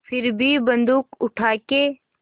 फिर भी बन्दूक उठाके